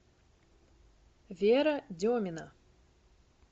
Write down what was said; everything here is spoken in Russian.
вера демина